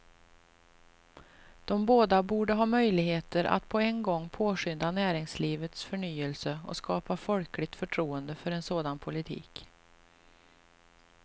De båda borde ha möjligheter att på en gång påskynda näringslivets förnyelse och skapa folkligt förtroende för en sådan politik.